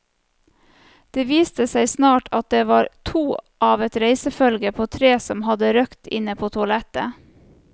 Det viste seg snart at det var to av et reisefølge på tre som hadde røkt inne på toalettet.